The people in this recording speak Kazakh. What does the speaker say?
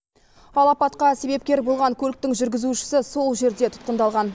ал апатқа себепкер болған көліктің жүргізушісі сол жерде тұтқындалған